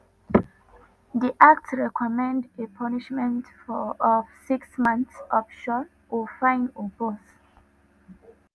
di act recommend a punishment of six months option of fine or both.